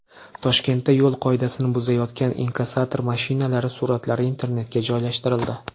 Toshkentda yo‘l qoidasini buzayotgan inkassator mashinalari suratlari internetga joylashtirildi.